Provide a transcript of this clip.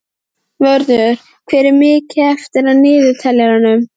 Vörður, hvað er mikið eftir af niðurteljaranum?